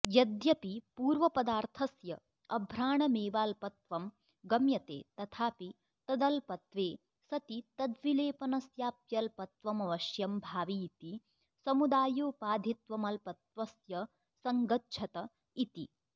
यद्यपि पूर्वपदार्थस्य अभ्राणमेवाल्पत्वं गम्यते तथापि तदल्पत्वे सति तद्विलेपनस्याप्यल्पत्वमवश्यं भावीति समुदायोपाधित्वमल्पत्वस्य सङ्गच्छत इति